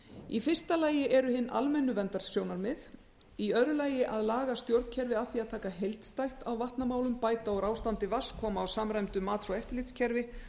í fyrsta lagi eru hin almennu verndarsjónarmið í öðru lagi að eða stjórnkerfi að því að taka heildstætt á vatnamálum bæta úr ástandi vatns koma á samræmdu mats og eftirlitskerfi